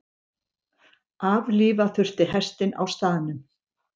Aflífa þurfti hestinn á staðnum.